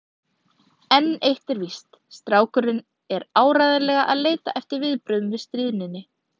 En eitt er víst: Strákurinn er áreiðanlega að leita eftir viðbrögðum við stríðninni.